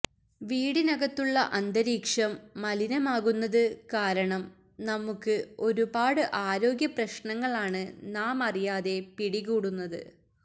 വീടിനകത്തുള്ള അന്തരീക്ഷം മലിനമാകുന്നത് കാരണം നമുക്ക് ഒരുപാട് ആരോഗ്യ പ്രശ്നങ്ങളാണ് നാമറിയാതെ പിടികൂടുന്നത്